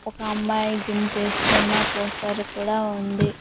ఒక అమ్మాయి జిమ్ చేస్తున్న పోస్టర్ కూడా ఉంది.